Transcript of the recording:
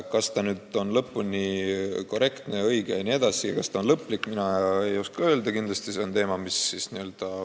Kas see nüüd lõpuni õige on, kas see on lõplik, seda mina ei oska öelda.